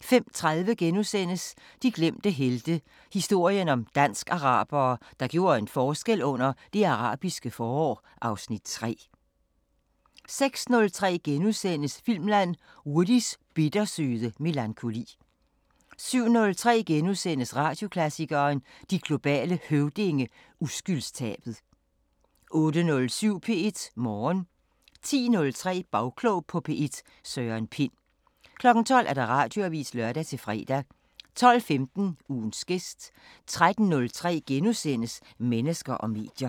* 05:30: De glemte helte – historien om dansk-arabere, der gjorde en forskel under Det Arabiske forår (Afs. 3)* 06:03: Filmland: Woodys bittersøde melankoli * 07:03: Radioklassikeren: De globale Høvdinge – Uskyldstabet * 08:07: P1 Morgen 10:03: Bagklog på P1: Søren Pind 12:00: Radioavisen (lør-fre) 12:15: Ugens gæst 13:03: Mennesker og medier *